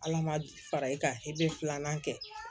Ala ma fara i kan i bɛ filanan kɛ